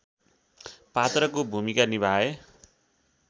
पात्रको भूमिका निभाए